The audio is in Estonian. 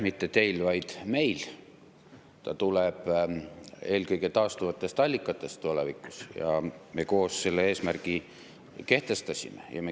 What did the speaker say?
Mitte teil, vaid meil ta tuleb eelkõige taastuvatest allikatest tulevikus ja me koos selle eesmärgi kehtestasime.